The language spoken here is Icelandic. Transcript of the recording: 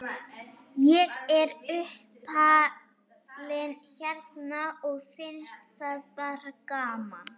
Ég er uppalinn hérna og finnst það bara gaman.